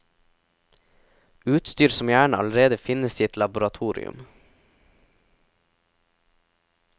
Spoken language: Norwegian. Utstyr som gjerne allerede finnes i et laboratorium.